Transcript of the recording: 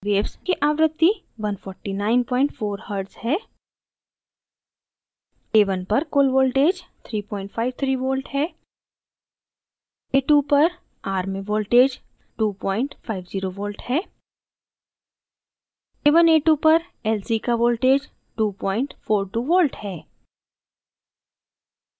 waves की आवृत्ति 1494hz है a1 पर कुल वोल्टेज 353v है a2 पर r में वोल्टेज 250v है